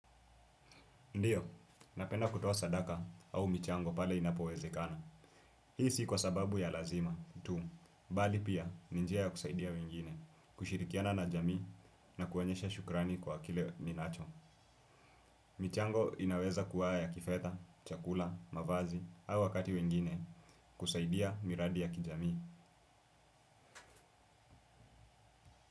Ndiyo, napenda kutoa sadaka au michango pale inapowezekana. Hii si kwa sababu ya lazima, tu. Bali pia, ni njia ya kusaidia wengine, kushirikiana na jamii na kuonyesha shukrani kwa kile ninacho. Michango inaweza kuwa ya kifedha, chakula, mavazi, au wakati wengine, kusaidia miradi ya kijamii.